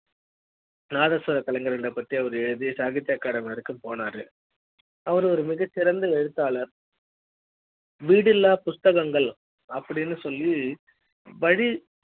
நாதஸ்வர கலைஞர்கள் பத்தி எழுதி சாகித்யா academy வர போனாரு அவர் ஒரு மிகச் சிறந்த எழுத்தாளர் வீடில்லா புத்தகங்கள் அப்படின்னு சொல்லி படி